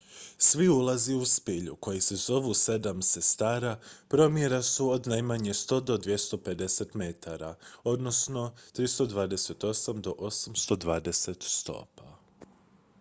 "svi ulazi u spilju koji se zovu "sedam sestara" promjera su od najmanje 100 do 250 metara 328 do 820 stopa.